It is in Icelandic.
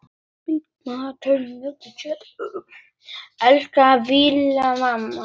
Elsku Vallý amma.